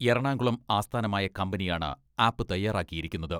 എറണാകുളം ആസ്ഥാനമായ കമ്പനിയാണ് ആപ്പ് തയ്യാറാക്കിയിരിക്കുന്നത്.